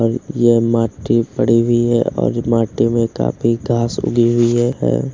और ये माटी पड़ी हुई है और माटी में काफी घास उगी हुई है।